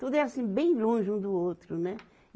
Tudo é assim, bem longe um do outro, né?